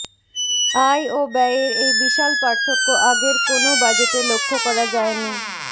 আয় ও ব্যয়ের এই বিশাল পার্থক্য আগের কোনো বাজেটে লক্ষ্য করা যায়নি